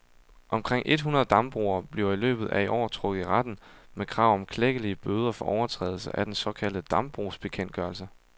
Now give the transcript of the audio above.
Omkring et hundrede dambrugere bliver i løbet af i år trukket i retten med krav om klækkelige bøder for overtrædelse af den såkaldte dambrugsbekendtgørelse.